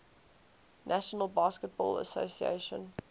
national basketball association